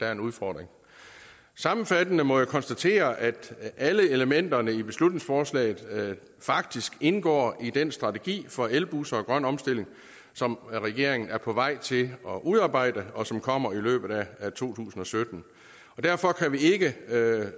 er en udfordring sammenfattende må jeg konstatere at alle elementerne i beslutningsforslaget faktisk indgår i den strategi for elbusser og grøn omstilling som regeringen er på vej til at udarbejde og som kommer i løbet af to tusind og sytten og derfor kan vi ikke